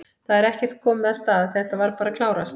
Það er ekkert komið af stað, þetta var bara að klárast?